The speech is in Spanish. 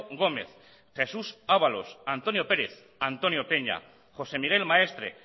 gómez jesús abalos antonio pérez antonio peña josé miguel maestre